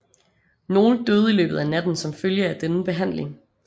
Nogle døde i løbet af natten som følge af denne behandling